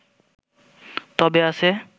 তবে আছে